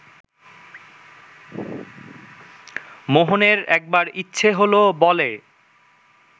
মোহনের একবার ইচ্ছে হলো বলে